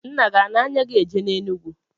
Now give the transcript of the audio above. Nna gi ana-anya gi eje n'Enugwu?